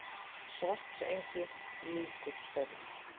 Svartsengi lýkur störfum.